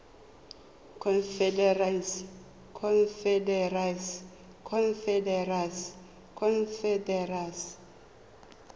confederacy